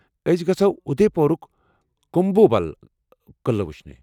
اسہ گژھو اُدے پورُك كُموبل گڈ قعلہ وُچھنہِ ۔